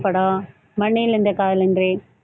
படம் மன்னில் இந்த காதலன்றி